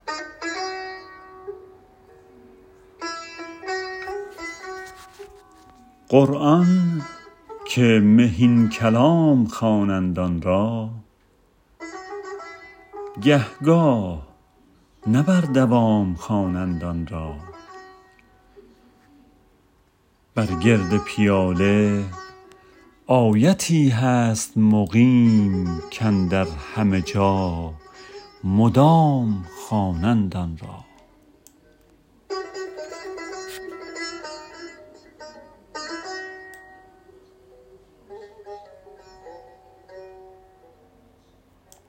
قرآن که مهین کلام خوانند آن را گه گاه نه بر دوام خوانند آن را بر گرد پیاله آیتی هست مقیم کاندر همه جا مدام خوانند آن را